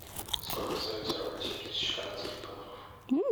сколько стоит сорок восемь тысяч канадских долларов